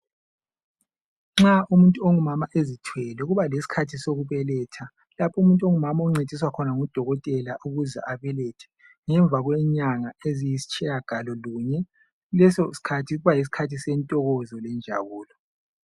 Nxa umuntu ongumama ezithwele kuba lesikhathi sokubeletha lapho umuntu ongumama encediswa ngudokotela ukuthi abelethe ngemva kwenyanga eziyisitshiyangalo lunye leso sosikhathi kuba yisikhathi sentokozo lokujabula.